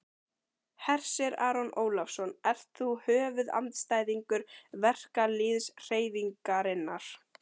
Hersir Aron Ólafsson: Ert þú höfuðandstæðingur verkalýðshreyfingarinnar?